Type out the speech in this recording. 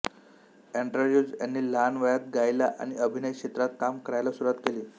Andrews ह्यांनी लहान वयात गायला आणि अभिनय क्षेत्रात काम करायला सुरुवात केली